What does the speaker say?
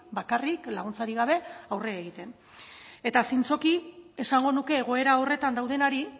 bakarrik laguntzarik gabe aurre egiten eta zintzoki esango nuke egoera horretan daudenari